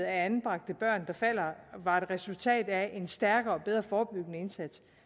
af anbragte børn var et resultat af en stærkere og mere forebyggende indsats